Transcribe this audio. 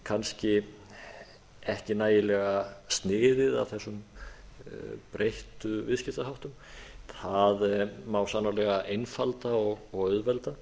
kannski ekki nægilega sniðið að þessum breyttu viðskiptaháttum það má sannarlega einfalda og auðvelda